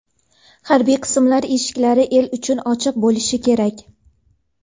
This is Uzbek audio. Harbiy qismlar eshiklari el uchun ochiq bo‘lishi kerak.